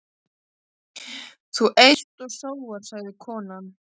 Þú eyst og sóar, sagði konan.